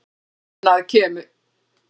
Annað kemur ljós